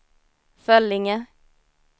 Föllinge